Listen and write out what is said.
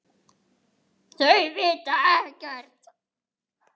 Finnst henni.